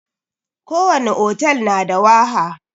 ko wani hotel na da waha.